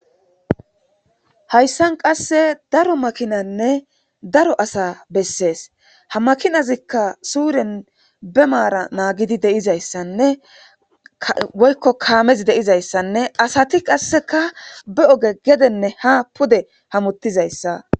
hayssan qasse daro makinanne daro asa bessees ha makinazikka suuren be maara naagidi deizayssanne woykko kaamezi deizayssanne asati qasseka be oge gedenne ha pude hamuttizayssa